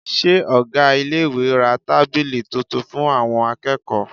Ṣé ọ̀gá iléèwé ra tábìlì tuntun fún àwọn akẹ́kọ̀ọ́?